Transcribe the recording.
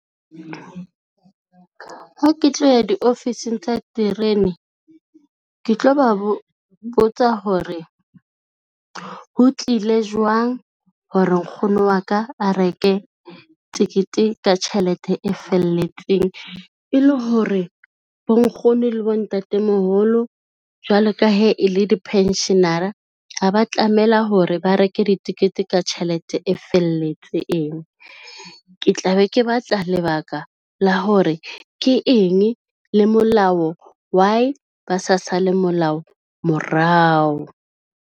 Ha ke tloya diofising tsa terene, ke tlo ba botsa hore ho tlile jwang hore nkgono wa ka a reke tekete ka tjhelete e felletseng, e le hore bonkgono le bontatemoholo jwalo ka he e le di-pension-ara, ha ba tlamela hore ba reke ditekete ka tjhelete e felletseng. Ke tla be ke batla lebaka la hore ke eng le molao, why ba sa sale molao morao.